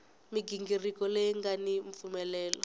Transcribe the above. mighingiriko leyi nga ni mpfumelelo